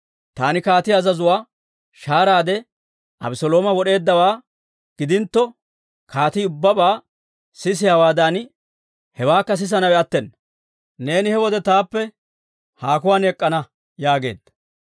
Taani kaatiyaa azazuwaa shaaraade Abeselooma wod'eeddawaa gidintto, kaatii ubbabaa sisiyaawaadan hewaakka sisanawe attena. Neeni he wode taappe haakuwaan ek'k'ana» yaageedda.